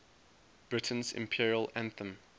britain's imperial anthem